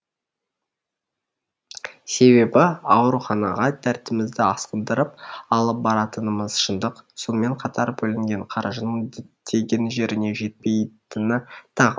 себебі ауруханаға дертімізді асқындырып алып баратынымыз шындық сонымен қатар бөлінген қаржының діттеген жеріне жетпейтіні тағы